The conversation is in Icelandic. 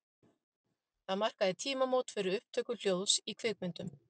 Það markaði tímamót fyrir upptöku hljóðs í kvikmyndum.